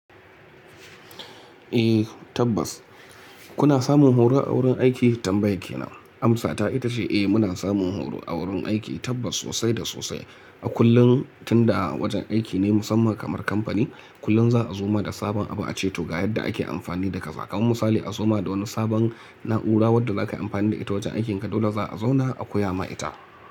Eh tabbas kuna samun horo a wurin aiki tambayan kenan amsa ta ita ce eh muna samun horo a wurin aiki tabbas sosai da sosai a kullum tunda wajen aiki ne musamman kamar kamfani kullum za a zoma da sabon abu a ceto ga yadda ake amfani da kaza kaman misali a zoma da wani sabon na'ura wadda zaka yi amfani da ita wajen aikinka dole za a zauna a koya ma ita.